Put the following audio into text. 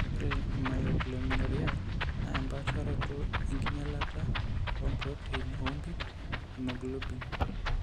Ore eMyoglobinuriae naa empaasharoto enkinyialata oompurotein oompit, emyoglobin.